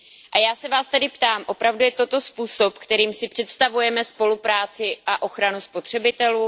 A já se vás tedy ptám Opravdu je toto způsob, kterým se představujeme spolupráci a ochranu spotřebitelů?